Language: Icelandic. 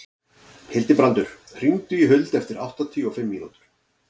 Hildibrandur, hringdu í Huld eftir áttatíu og fimm mínútur.